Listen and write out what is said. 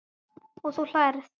Og þú hlærð?